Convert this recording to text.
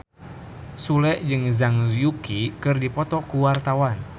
Sule jeung Zhang Yuqi keur dipoto ku wartawan